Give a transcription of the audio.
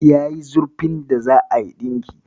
Yayi zurfin da za'a yi ɗinki.